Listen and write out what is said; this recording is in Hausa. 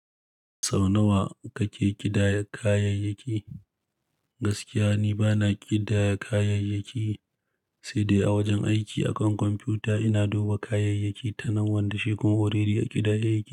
Sau nawa kake ƙidaya kayayyaki? Gaskiya ni bana ƙidaya kayayyaki, sai dai a wajen aiki akan kwamfuta ina duba kayayyaki ta nan wanda shi kuma already a ƙidaya yake.